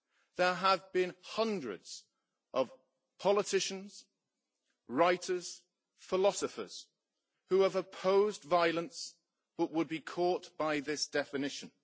There have been hundreds of politicians, writers and philosophers who have opposed violence but who would be caught by this definition.